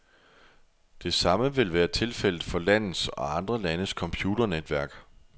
Det samme vil være tilfældet for landets, og andre landes, computernetværk.